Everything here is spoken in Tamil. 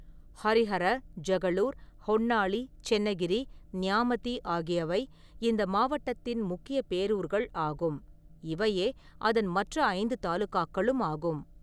ஹரிஹர, ஜகளூர், ஹொன்னாளி, சென்னகிரி, ந்யாமதி ஆகியவை இந்த மாவட்டத்தின் முக்கிய பேரூர்கள் ஆகும், இவையே அதன் மற்ற ஐந்து தாலுகாக்களும் ஆகும்.